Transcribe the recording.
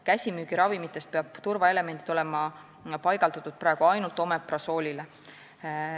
Käsimüügiravimitest peab turvaelement olema paigaldatud praegu ainult Omeprazoli pakendile.